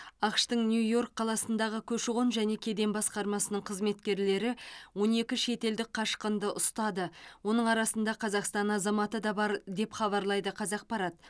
ақш тың нью йорк қаласындағы көші қон және кеден басқармасының қызметкерлері он екі шетелдік қашқынды ұстады оның арасында қазақстан азаматы да бар деп хабарлайды қазақпарат